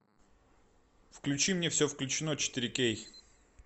включи мне все включено четыре кей